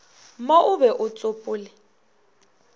mo o be o tsopole